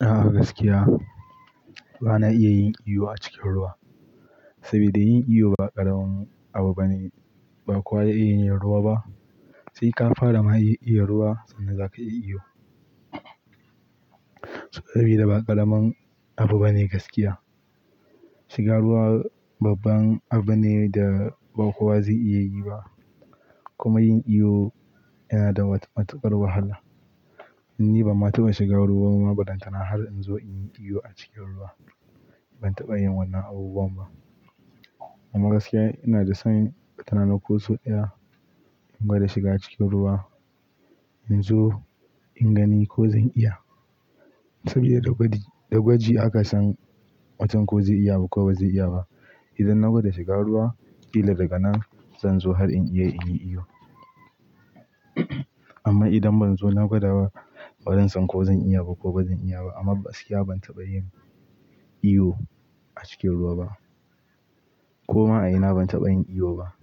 A gaskiya bana iya yin iwo a cikin ruwa. Saboda yin iwo ba ƙaramin abu bane, ba kowa ya iya yin ruwa ba. Sai ka fara ma iya ruwa sannan zaka iya iwo. Saboda ba ƙaramin abu bane gaskiya. Shiga ruwa babban abu ne da ba kowa zai iya yi ba. Kuma yin iyo yana da matuƙar wahala. Ni ban ma taɓa shiga ruwa ba balatana har in zo in yi iwo a cikin ruwa. Ban taɓa yin wannan abubuwan ba. Amma gaskiya ina da san watarana ko sau ɗaya in gwada shiga cikin ruwa in zo in gani ko zan iya. Saboda da gwaji aka san mutum ko zai iya ba ko ba zai iya ba. Idan na gwada shiga ruwa, ƙila daga nan zan zo har in iya yin iwo. Amma idan ban zo na gwada wa, ba zan san ko zan iya ko ba zan iya ba. Amma gaskiya ban taɓa yin iwo a cikin ruwa ba. Koma a ina ban taɓa yin iwo ba.